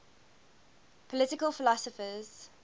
political philosophers